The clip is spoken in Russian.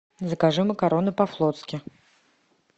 закажи макароны по флотски